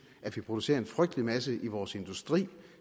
at vi producerer en frygtelig masse i vores industri